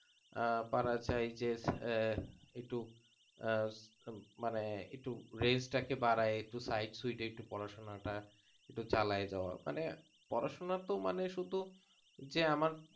আহ পারা যায় আহ মানে range টা একটু বাড়াই একটু side সুইডে একটু পড়াশোনা চালায় যাওয়া